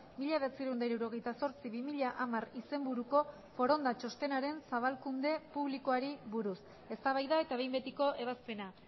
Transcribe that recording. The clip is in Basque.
mila bederatziehun eta hirurogeita zortzi bi mila hamar izenburuko foronda txostenaren zabalkunde publikoari buruz eztabaida eta behin betiko ebazpena